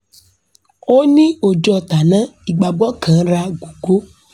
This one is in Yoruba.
òní ò jọ tánáà ìgbagbó kanra gógó